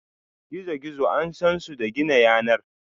gizo-gizo an San su da gina yanar.